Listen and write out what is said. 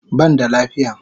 Ban da lafiya